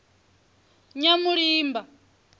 nyamulimba